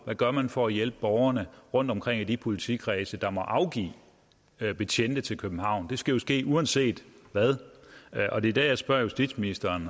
hvad gør man for at hjælpe borgerne rundtomkring i de politikredse der må afgive betjente til københavn det skal jo ske uanset hvad og det er der jeg spørger justitsministeren